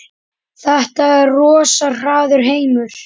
Þetta er rosa harður heimur.